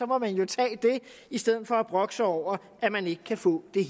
må man jo tage det i stedet for at brokke sig over at man ikke kan få det